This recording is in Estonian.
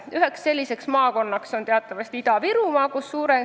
Üheks selliseks maakonnaks on teatavasti Ida-Virumaa.